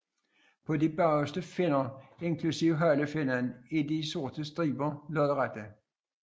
På de bagerste finner inklusive halefinnen er de sorte striber lodrette